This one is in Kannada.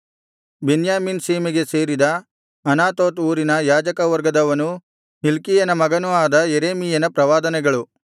ಬೆನ್ಯಾಮೀನ್ ಸೀಮೆಗೆ ಸೇರಿದ ಅನಾತೋತ್ ಊರಿನ ಯಾಜಕ ವರ್ಗದವನೂ ಹಿಲ್ಕೀಯನ ಮಗನೂ ಆದ ಯೆರೆಮೀಯನ ಪ್ರವಾದನೆಗಳು